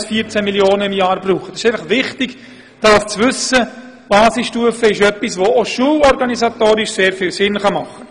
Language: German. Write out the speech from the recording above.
Es ist gut zu wissen, dass die Basisstufe auch aus schulorganisatorischer Sicht sehr sinnvoll sein kann.